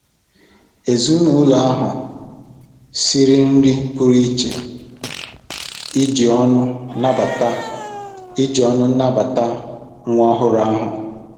Ezinụlọ ahụ siere nri pụrụ iche iji ọṅụ nabata iji ọṅụ nabata nwa ọhụrụ ha.